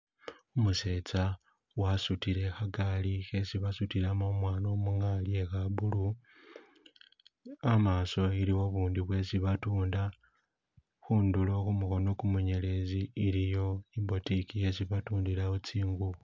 Umusetsa wasudile khagali khesi basudilamo umwana nga kha blue hamaso iliwo bundi bwesi batunda khundulo khumukono gumunyelezi iliyo boutique yesi batundilawo tsingubo